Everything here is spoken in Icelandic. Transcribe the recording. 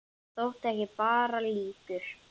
Hann þótti ekki bara líkur